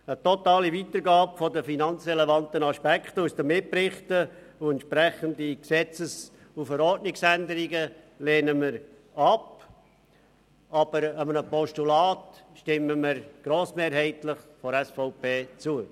Eine totale Weitergabe der finanzrelevanten Aspekte aus den Mitberichten und entsprechende Gesetzes- und Verordnungsänderungen lehnen wir ab, aber einem Postulat stimmt die SVP grossmehrheitlich zu.